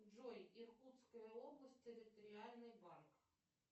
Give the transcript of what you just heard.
джой иркутская область территориальный банк